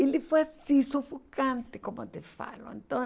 Ele foi assim, sufocante, como eu te falo. Então